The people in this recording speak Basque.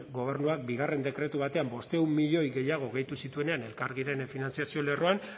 gobernuak bigarren dekretu batean bostehun milioi gehiago gehitu zituenean elkargiren finantziazio lerroan